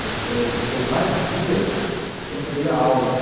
Eu eu fiquei vários dias sem poder ir à aula, né?